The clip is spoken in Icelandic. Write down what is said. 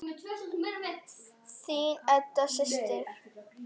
Þín Edda systir.